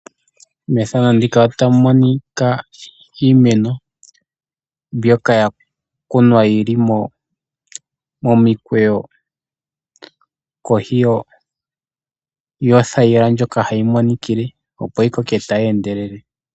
Iimeno mbyoka ya kunwa yi li momikweyo kohi yothayila ndjoka hayi monikile opo yi koke tayi endelele.